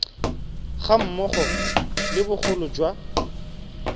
ga mmogo le bogolo jwa